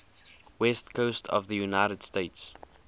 west coast of the united states